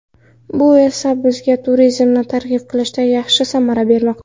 Bu esa bizga turizmni targ‘ib qilishda yaxshi samara bermoqda.